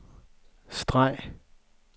streg